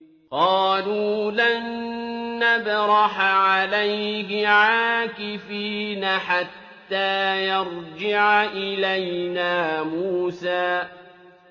قَالُوا لَن نَّبْرَحَ عَلَيْهِ عَاكِفِينَ حَتَّىٰ يَرْجِعَ إِلَيْنَا مُوسَىٰ